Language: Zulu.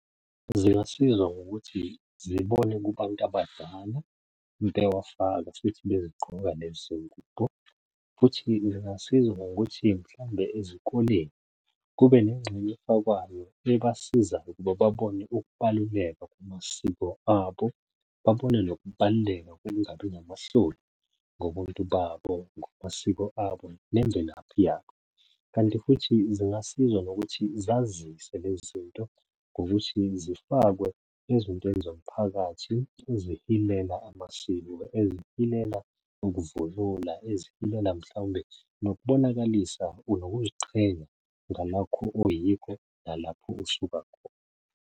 Zingasiza ngokuthi zibone kubantu abadala bewafaka futhi bezigqoka lezi ngubo, futhi zingasiza ngokuthi mhlambe ezikoleni kube nengxenye efakwayo ebasizayo ukuba babone ukubaluleka kwamasiko abo. Babone nokubaluleka kokungabi namahloni ngobuntu babo, ngamasiko abo, nemvelaphi yabo. Kanti futhi zingasiza ngokuthi zazise lezi zinto ngokuthi zifakwe ezintweni zomphakathi ezihilela amasiko, ezihilela ukuvunula, ezihilela mhlawumbe nokubonakalisa nokuziqhenya ngalokho oyikho nalapho osuka khona.